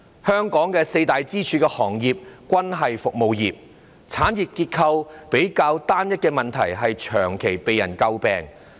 香港的四大支柱行業均屬服務業，產業結構比較單一的問題長期被詬病。